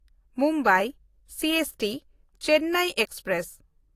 Mumbai ᱥᱤᱮᱥᱴᱤ-ᱪᱮᱱᱱᱟᱭ express